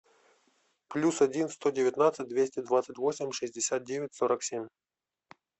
плюс один сто девятнадцать двести двадцать восемь шестьдесят девять сорок семь